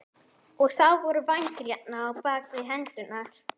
Og þá voru vængir hérna, bak við hendurnar.